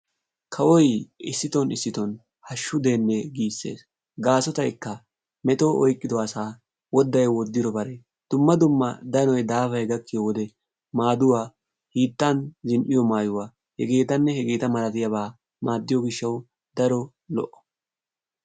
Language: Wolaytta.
Kawoy issidon issidon hashshu de'ene gisees. Gaasotaykka metoy oyqqido asa wodday woddidbare dumma dumma dannoy daafay gakkiyo wode maaduwaa hiittan zin'iyo maayuwa h.h.m. maadiyo gishshawu daro lo'o.